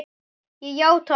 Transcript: Ég játa allt